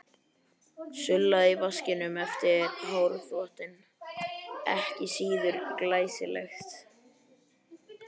Sullið í vaskinum eftir hárþvottinn ekki síður glæsilegt.